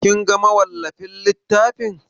Kin ga mawallafin littafin?